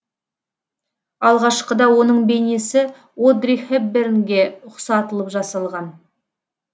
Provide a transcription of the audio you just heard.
алғашқыда оның бейнесі одри хэпбернге ұқсатылып жасалған